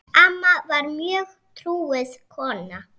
Amma var mjög trúuð kona.